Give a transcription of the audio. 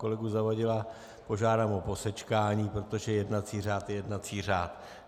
Kolegu Zavadila požádám o posečkání, protože jednací řád je jednací řád.